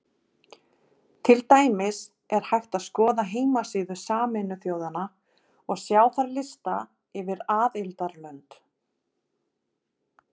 Til dæmis er hægt að skoða heimasíðu Sameinuðu þjóðanna og sjá þar lista yfir aðildarlönd.